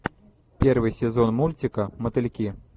первый сезон мультика мотыльки